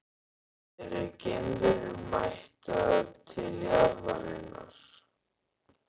Eru geimverur mættar til jarðarinnar?